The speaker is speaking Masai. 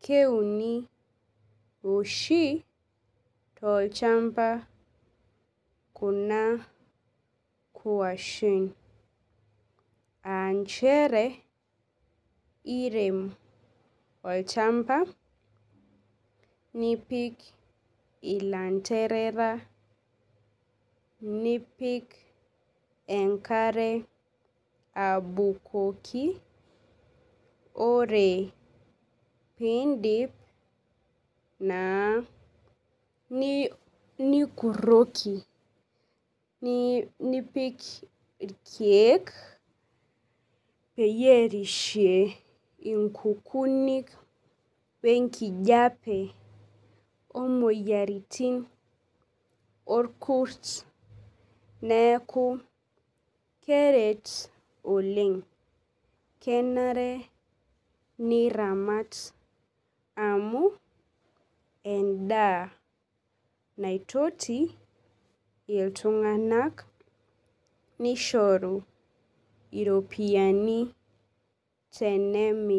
keuni oshi tolchamba kuna kwashen aanchere irem tolchamba nipik ilanderea nipik enkare abukoki ore pindip naa nikuroki nipik irkiek peyie erishie nkukunik imoyiaritin orkurt neaku keret Oleng kenare niramat amu endaa naitoti iltunganak nishoru iropiyiani tenemiri.